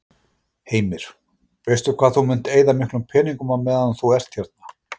Heimir: Veistu hvað þú munt eyða miklum peningum á meðan þú ert hérna?